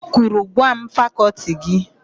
O kwuru, "gwa m fakọltị gị!